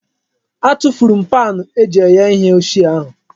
Atufuru m paanụ eji eghe ihe ochie ahụ.